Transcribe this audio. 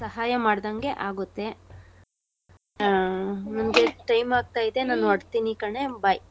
ಸಹಾಯ ಮಾಡ್ಡಂಗೆ ಆಗೋತೆ nospeech. ಆ ನಂಗೆ time ಆಗ್ತಾಯಿದೆ ನಾನ್ ಹೊರಡ್ತೀನಿ ಕಣೇ. bye .